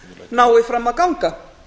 nái fram að ganga